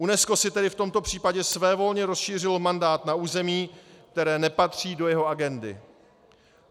UNESCO si tedy v tomto případě svévolně rozšířilo mandát na území, které nepatří do jeho agendy.